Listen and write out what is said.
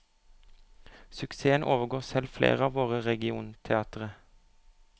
Suksessen overgår selv flere av våre regionteatre.